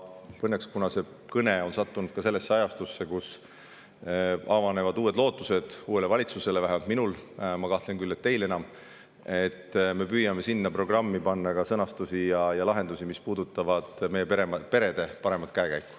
Õnneks on nii, et mu tänane kõne sattus ajale, mil avaneb lootus uuele valitsusele – vähemalt minul, ma küll kahtlen, kas teil enam – ning me püüame sinna programmi panna ka sõnastusi ja lahendusi, mis puudutavad meie perede paremat käekäiku.